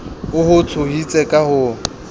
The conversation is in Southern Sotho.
o ho tshositse ka ho